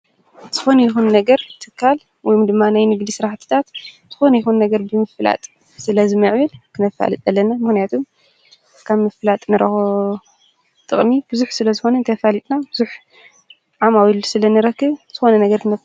ዝኾን ይኹን ነገር ትካል ወይም ድማናይ ንግሊ ሥራሕትጣት ዝኾን ይሆን ነገር ብምፍላጥ ስለ ዝምዕብል ክነፋልጥ ለነ ምህንያቱም ካብ ምፍላጥ ነረኾ ጥቕሚ ብዙኅ ስለ ዝኾነ ንተፋሊጥና ብዙኅ ዓማዊ ሉ ስለ ንረክብ ዝኾነ ነገርትነፈ።